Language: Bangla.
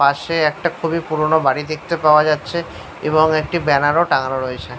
পাশে একটা খুবই পুরনো বাড়ি দেখতে পাওয়া যাচ্ছে এবং একটা ব্যানার ও টাঙানো রয়েছে।